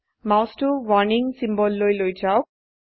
মাউসটো warning সিম্বললৈ লৈ যাওক